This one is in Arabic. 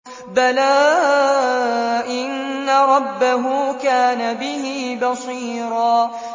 بَلَىٰ إِنَّ رَبَّهُ كَانَ بِهِ بَصِيرًا